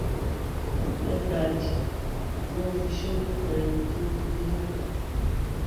mẹtáàdì tí wọn fi sọlẹ pa ẹni tó filé hááyà fún